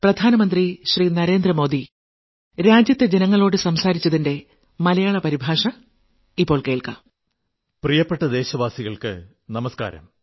പ്രിയപ്പെട്ട ദേശവാസികൾക്ക് നമസ്കാരം